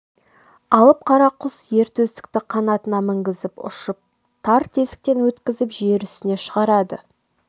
алып құс ер төстікті қанатына мінгізіп ұшып тар тесіктен өткізіп жер үстіне шығарады